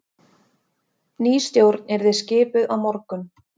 Ný stjórn yrði skipuð á morgun